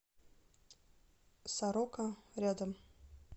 сорока рядом